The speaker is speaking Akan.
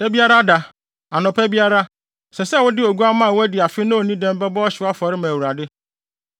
“ ‘Da biara da, anɔpa biara, ɛsɛ sɛ wode oguamma a wadi afe na onni dɛm bɛbɔ ɔhyew afɔre ma Awurade.